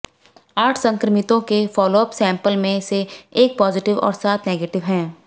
आठ संक्रमितों के फॉलोअप सैंपल्स में से एक पॉजिटिव और सात नेगेटिव है